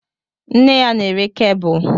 Nne ya na-ere kebụl